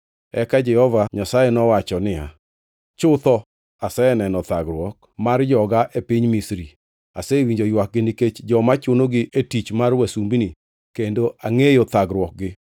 Eka Jehova Nyasaye nowacho niya, “Chutho aseneno thagruok mar joga e piny Misri. Asewinjo ywakgi nikech joma chunogi e tich mar wasumbini kendo angʼeyo thagruokgi.